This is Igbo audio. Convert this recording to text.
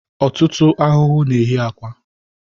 Ọtụtụ ahụhụ na-eyi akwa